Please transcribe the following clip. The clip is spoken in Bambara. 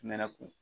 Mɛnɛ kun